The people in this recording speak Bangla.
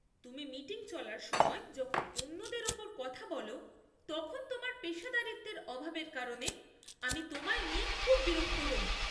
তুমি মিটিং চলার সময় যখন অন্যদের ওপর কথা বল, তখন তোমার পেশাদারিত্বের অভাবের কারণে আমি তোমায় নিয়ে খুব বিরক্ত হই।